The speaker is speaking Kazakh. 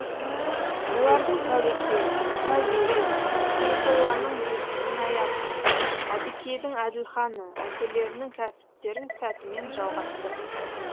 олардың тәуекел тәуел сейфолланың ғинаяты әбікейдің әділханы әкелерінің кәсіптерін сәтімен жалғастырды